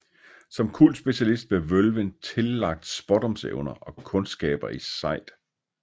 Som kultspecialist blev vølven tillagt spådomsevner og kundskaber i sejd